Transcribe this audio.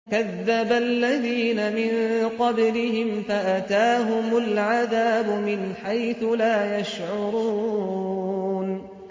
كَذَّبَ الَّذِينَ مِن قَبْلِهِمْ فَأَتَاهُمُ الْعَذَابُ مِنْ حَيْثُ لَا يَشْعُرُونَ